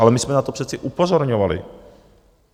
Ale my jsme na to přece upozorňovali.